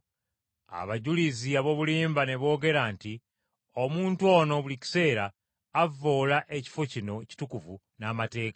Abajulizi ab’obulimba ne boogera nti, “Omuntu ono buli kiseera avvoola ekifo kino ekitukuvu n’amateeka.